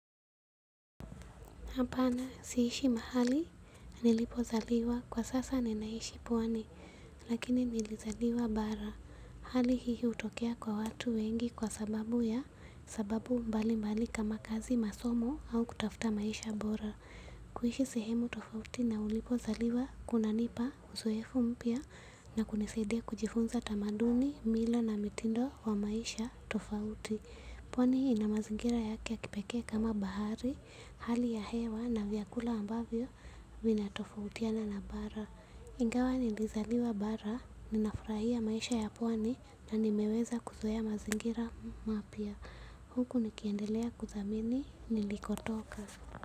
Hapana, siishi mahali nilipozaliwa, kwa sasa ninaishi pwani lakini nilizaliwa bara. Hali hii hutokea kwa watu wengi kwa sababu ya sababu mbalimbali kama kazi masomo au kutafuta maisha bora. Kuishi sehemu tofauti na ulipozaliwa, kuna nipa uzoefu mpya na kunisadia kujifunza tamaduni, mila na mitindo wa maisha tofauti. Pwani ina mazingira yake ya kipeke kama bahari, hali ya hewa na vyakula ambavyo vinatofautiana na bara. Ingawa nilizaliwa bara, ninafurahia maisha ya pwani na nimeweza kuzoea mazingira mapya. Huku nikiendelea kuthamini, nilikotoka.